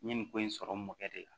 N ye nin ko in sɔrɔ mɔkɛ de la